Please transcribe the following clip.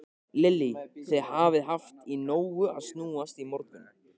Lillý: Þið hafið haft í nógu að snúast í morgun?